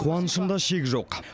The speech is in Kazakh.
қуанышымда шек жоқ